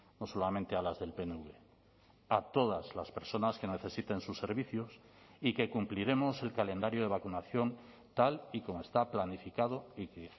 no solamente a las del pnv a todas las personas que necesiten sus servicios y que cumpliremos el calendario de vacunación tal y como está planificado y que